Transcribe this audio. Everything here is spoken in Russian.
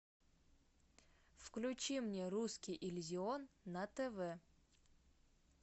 включи мне русский иллюзион на тв